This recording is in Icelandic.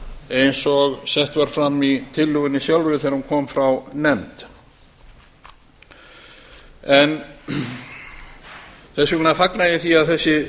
eins og sett var fram í tillögunni sjálfri þegar hún kom frá nefnd þess vegna fagna ég því að þessi